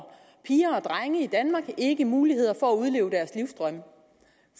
drenge i danmark ikke mulighed for at udleve deres livsdrømme